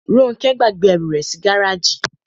Róńkẹ́ gbàgbé ẹrù rẹ̀ sí gáràjì.